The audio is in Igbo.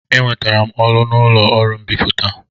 Enwetara m ọrụ n'ụlọ ọrụ mbipụta.